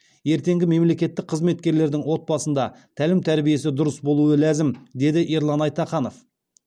ертеңгі мемлекеттік қызметкердің отбасында тәлім тәрбиесі дұрыс болуы ләзім деді ерлан айтаханов